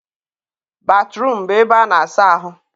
batruum bụ ebe a na-asa ahụ.